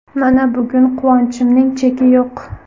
Mana, bugun quvonchimning cheki yo‘q.